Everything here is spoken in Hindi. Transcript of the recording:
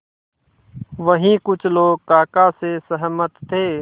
वहीं कुछ लोग काका से सहमत थे